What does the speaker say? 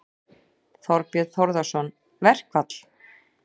Þorbjörn Þórðarson: Verkfall?